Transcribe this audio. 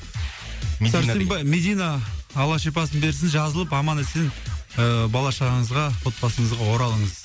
медина алла шипасын берсін жазылып аман есен ыыы бала шағаңызға отбасыңызға оралыңыз